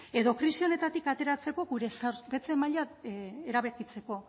edo krisi honetatik ateratzeko gure zorpetze maila erabakitzeko